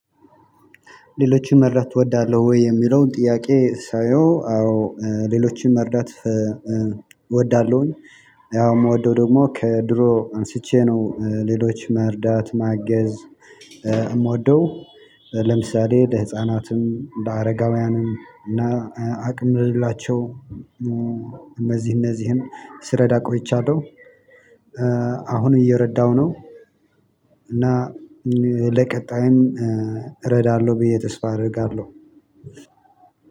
ሌሎችን መርዳት እወዳለሁ ወይ የሚለውን ጥያቄ ሳየው አዎ ሌሎችን መርዳት እወዳለሁኝ። ያው የምወደው ደግሞ ከድሮ አንስቼ ነው ሌሎች መርዳት ማገዝ የምወደው። ለምሳሌ ለህፃናትም እንደ አረጋውያንም እና አቅም ልላቸው እነዚህ እነዚህን ስረዳ ቆይቻለሁ። አሁንም እየረዳሁ ነው። እና ለቀጣይም እረዳለሁ ብዬ ተስፋ አደርጋለሁ።